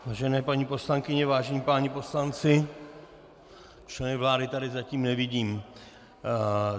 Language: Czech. Vážené paní poslankyně, vážení páni poslanci, členy vlády tady zatím nevidím.